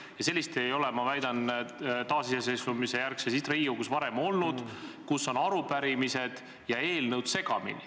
Ma väidan, et seda ei ole taasiseseisvumisjärgses Riigikogus varem olnud, et arupärimised ja eelnõud oleksid segamini.